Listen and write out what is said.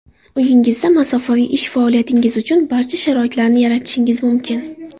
Uyingizda masofaviy ish faoliyatingiz uchun barcha sharoitlarni yaratishingiz mumkin.